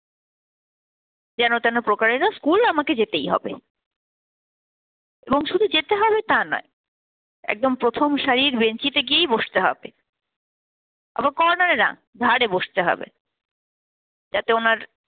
যেন তেন প্রকারেণ school আমাকে যেতেই হবে। এবং শুধু যেতে হবে তা নয়, একদম প্রথম সারির বেঞ্চিতে গিয়েই বসতে হবে। আবার corner এ না ধারে বসতে হবে যাতে ওনার